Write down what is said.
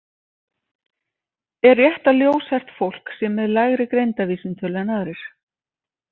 Er rétt að ljóshært fólk sé með lægri greindarvísitölu en aðrir?